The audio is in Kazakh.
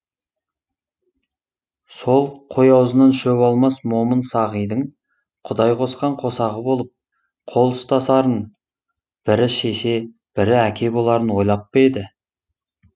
сол қой аузынан шөп алмас момын сағидың құдай қосқан қосағы болып қол ұстасарын бірі шеше бірі әке боларын ойлап па еді